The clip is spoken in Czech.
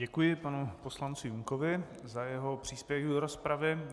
Děkuji panu poslanci Junkovi za jeho příspěvek do rozpravy.